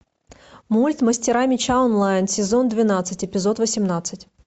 мульт мастера меча онлайн сезон двенадцать эпизод восемнадцать